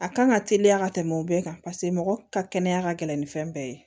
A kan ka teliya ka tɛmɛ o bɛɛ kan paseke mɔgɔ ka kɛnɛya ka gɛlɛn ni fɛn bɛɛ ye